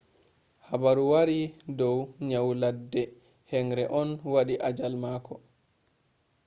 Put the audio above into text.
haabaru waari do nyau ladde henre on wadi ajaal mako